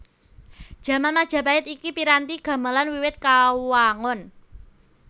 Jaman Majapahit iki piranti gamelan wiwit kawangun